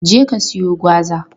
Je ka siyo gwaza!